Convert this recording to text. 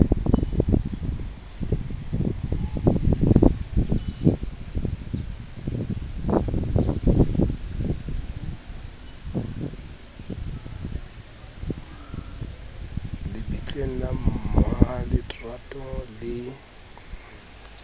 le bitleng la mmaletrato le